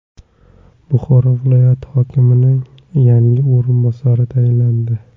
Buxoro viloyati hokimining yangi o‘rinbosari tayinlandi.